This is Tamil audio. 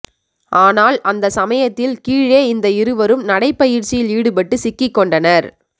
ஆனால் அந்த சமயத்தில் கீழே இந்த இருவரும் நடைப்பயிற்சியில் ஈடுபட்டு சிக்கிக் கொண்டனர்